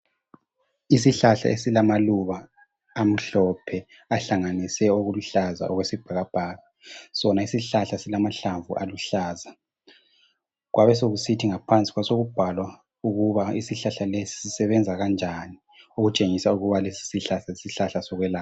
Isihlahla esilamaluba amhlophe ahlanganise laluhlaza okwesibhakabhaka esilamahlamvu sona isihlahla esilamahlamvu aluhlaza kwabe sokusithi ngaphansi kwasokubhalwa ukuba isihlahla lesi sisebenza kanjani okutshengisa ukuba lesi sihlahla yisihlahla sokwelapha.